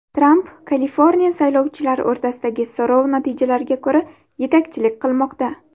Tramp Kaliforniya saylovchilari o‘rtasidagi so‘rov natijalariga ko‘ra yetakchilik qilmoqda.